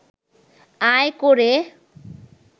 আয় করে